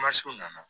Mansinw nana